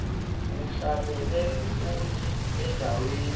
uhlalele futhi endaweni